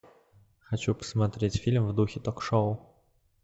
хочу посмотреть фильм в духе ток шоу